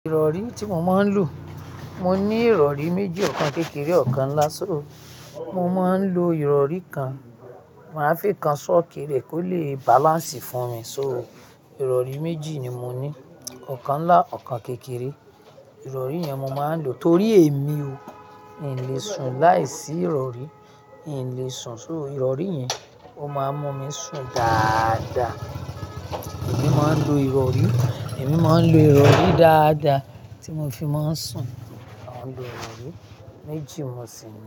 Ìrọ̀rí tí mo máa ń lò, mo ní ìrọ̀rí méjì, ọ̀kan kékeré, ọ̀kan ńlá. So, mo máa ń lo ìrọ̀rí kan, màá fi kan sókè rẹ̀ kó lè balance fún mi. So, ìrọ̀rí méjì ni mo ní, ọ̀kan ńlá, ọ̀kan kékeré. Ìrọ̀rí yẹn mo máa ń lò torí èmi o, n lè sùn láìsí ìrọ̀rí, n lè sùn. So ìrọ̀rí yẹn, ó máa ń mú mi sùn dáadáa. Èmi máa ń lo ìrọ̀rí, èmi máa ń lo ìrọ̀rí dáadáa tí mo fi máa ń sùn. À ń lo ìrọ̀rí méjì mo sì ń lo.